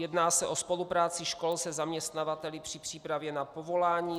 Jedná se o spolupráci škol se zaměstnavateli při přípravě na povolání.